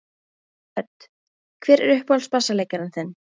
Hödd: Hver er uppáhalds bassaleikarinn þinn?